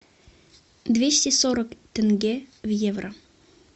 двести сорок тенге в евро